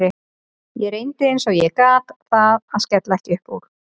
Ég reyndi eins og ég gat að skella ekki upp úr.